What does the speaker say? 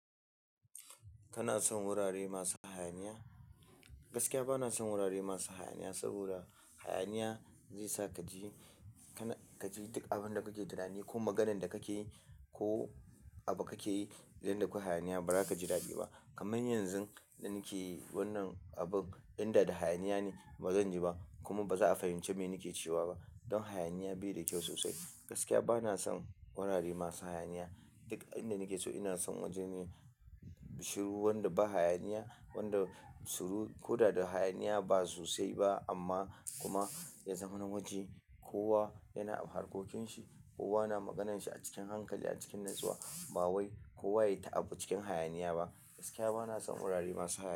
Kana son wurare masu hayaniya? Gaskiya ba na son wurare masu hayaniya saboda hayaniya zai sa ka ji, kana, ka ji duk abin da kuke tunani ko maganan da kake yi ko abu kake yi idan da kwai hayaniya ba za ka ji dadi ba. Kaman yanzun da nake wannan abun inda da hayaniya ne ba zan ji ba kuma ba za a fahimci me nike cewa ba. Don hayaniya bai da kyau sosai. Gaskiya ba na son wurare masu hayaniya. Duk inda nake so ina son wajene shiru wanda ba hayaniya, wanda shiru ko da da hayaniya ba sosai ba amma kuma ya zaman waje. Kowa yana da harkokinsa, kowa na maganarsa a cikin hankali a cikin natsuwa. Ba wai kowa ya yi ta abu cikin hayaniya ba. Gaskiya ba na son wurare masu hayaniya.